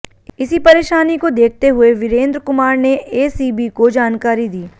इसी परेशानी को देखते हुए वीरेंद्र कुमार ने एसीबी को जानकारी दी